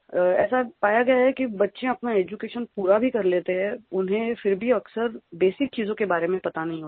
ऐसा पाया गया है कि बच्चे अपना एड्यूकेशन पूरा भी कर लेते हैं उन्हें फिर भी अक्सर बेसिक चीज़ों के बारे में पता नहीं होता है